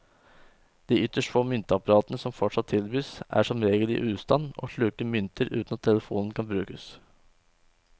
De ytterst få myntapparatene som fortsatt tilbys, er som regel i ustand og sluker mynter uten at telefonen kan brukes.